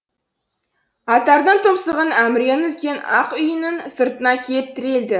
аттардың тұмсығын әміренің үлкен ақ үйінің сыртына әкеліп тірелді